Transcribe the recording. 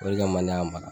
O de kama ne y'a mara